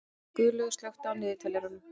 Guðlaugur, slökktu á niðurteljaranum.